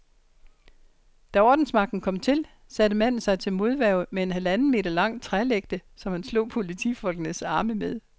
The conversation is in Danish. Da ordensmagten kom til, satte manden sig til modværge med en halvanden meter lang trælægte, som han slog politifolkenes arme med.